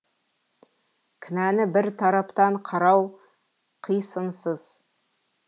кінәні бір тараптан қарау қисынсыз